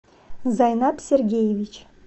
зайнат сергеевич